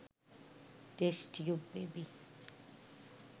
test tube baby